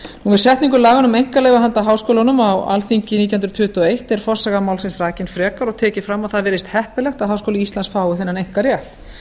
við setningu laganna um einkaleyfi handa háskólunum á alþingi nítján hundruð tuttugu og eitt er forsaga málsins rakin frekar og tekið fram að heppilegt virðist að háskóli íslands fái þennan einkarétt